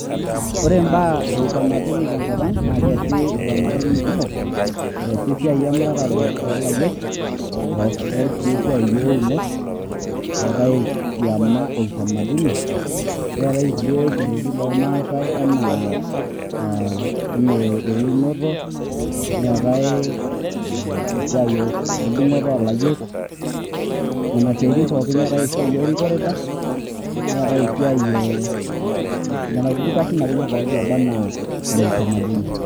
Ore imbaa eutamaduni tenkop ang',nakeesi utamaduni kumo. Eesi esiai emuratare olayiok, eesitai si esiai ounot, eetae kiama e utamaduni neetae ilkulie kerretin lormasai enaa ah enaa eunoto, neetae esiai edung'oto olayiok, nena siaitin pookin. Neeta esiai orikooreta, neetae esiai eh, lelo kulie kasin poki loba enaa le utamaduni.